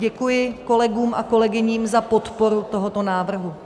Děkuji kolegům a kolegyním za podporu tohoto návrhu.